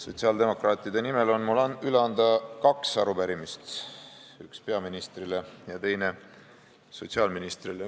Sotsiaaldemokraatide nimel on mul üle anda kaks arupärimist, üks peaministrile ja teine sotsiaalministrile.